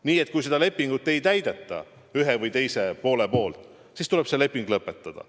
Nii et kui seda lepingut üks või teine pool ei täida, siis tuleb see leping lõpetada.